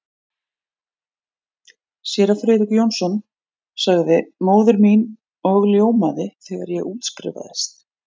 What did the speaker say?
Séra Friðrik Jónsson sagði móðir mín og ljómaði, þegar ég útskrifaðist.